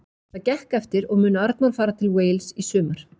Það gekk eftir og mun Arnór fara til Wales í sumar.